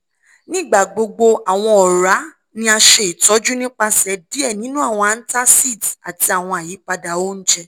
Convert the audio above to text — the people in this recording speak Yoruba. nigbagbogbo awọn ọra ni a ṣe itọju nipasẹ diẹ ninu awọn antacids ati awọn ayipada ounjẹ